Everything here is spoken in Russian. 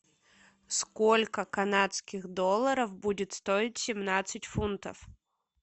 сколько канадских долларов будет стоить семнадцать фунтов